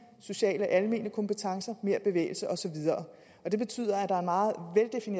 sociale og almene kompetencer mere bevægelse og så videre det betyder